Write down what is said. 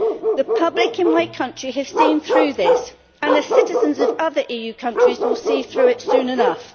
The public in my country have seen through this, and the citizens of other EU countries will see through it soon enough.